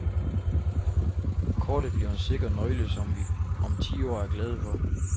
Kortet bliver en sikker nøgle, som vi om ti år er glade for.